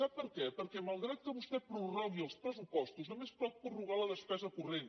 sap per què perquè malgrat que vostè prorrogui els pressupostos només pot prorrogar la despesa corrent